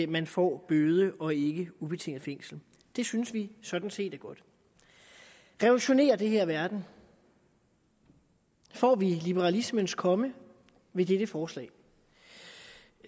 man får bøde og ikke ubetinget fængsel det synes vi sådan set er godt revolutionerer det her verden får vi liberalismens komme ved dette forslag